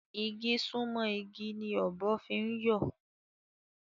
Igi sunmọ igi ni ọ̀bọ fi ń yọ